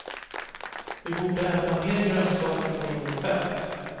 Vi borde äta mer grönsaker och mindre med fett.